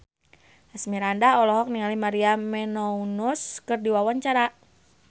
Asmirandah olohok ningali Maria Menounos keur diwawancara